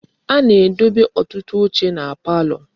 A na-edebe otutu oche na palo.